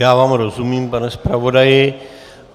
Já vám rozumím, pane zpravodaji.